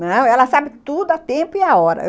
Não, ela sabe tudo a tempo e a hora.